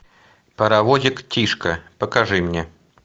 паровозик тишка покажи мне